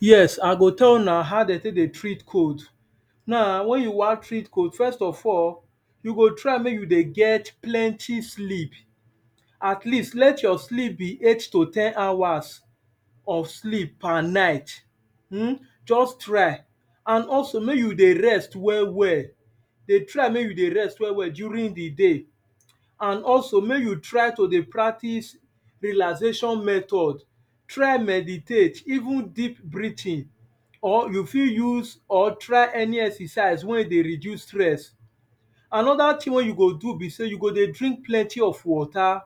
Yes I go tell una how de tek dey treat cold. Now wen you wan treat cold first of all you go try mek you dey get plenty sleep at least let your sleep beeight to ten hours of sleep per night and also mek you dey rest ell well, de try mek you dey rest well well during di day, and also mek you try to dey practices relaxation method, try meditate even deep breathing or you fit use or try any exercise wey dey reduce stress. Anoda thing wey yu go dey do b sey mek you dey drink plenty water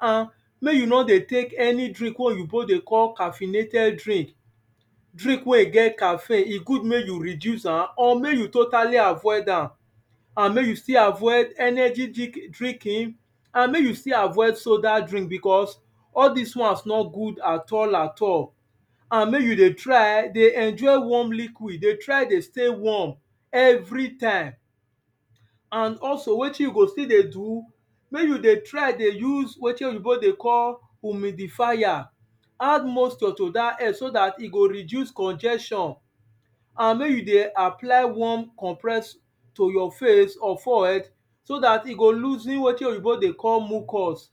and mek you no dey drink wey oyibo dey call caffeinated drink. Drink wey e get caffine e good mekk you reduce am and mek you still avoid energy drinking and mek you still avoid soda drink because all dis wans no good at al at all. And mek you dey try dey stay warm everytime. And also wetin you go still dey do, wen you dey try dey use wetin oyibo dey call omidifier, add moisture to dat so dat e go reduce conjestion and mek you dey apply conjeswarm compressed to your face or forehead so dat e go loosing wetin oyibo dey call mocus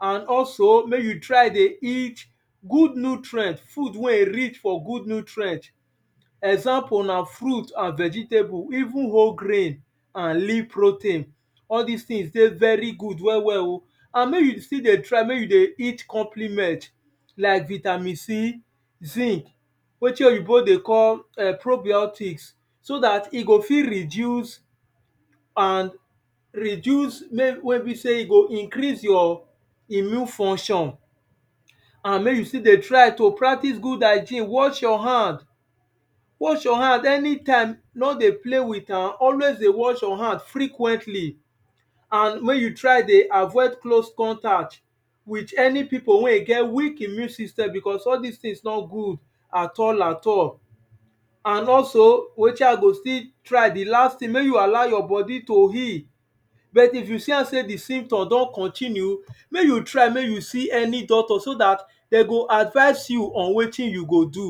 and also mek you try dey eat good nutrient, food wen e rich for good nutrient even one grain and leave protein all dis things dey very good well well oh. And mek you still dey eat complement like vitamin c, zinc, wetin oyibo dey call probiotics so dat e go fit reduce and reduce wey be sey e go increase your immune function and mek you still dey try to practices good hygen wash your hand. Anytime you wan dey play with am, wash your hand frequently and dwen you try dey avoid close contact with any pipu wen e get weak immue systemcausue all dis things nor good at all at all. And also wetin I go still try di last thing mey you alow your bodi to heal, but if you see am sey di sytom don continue, mek you try see an y doctor so dat de go advice you on weti you go do.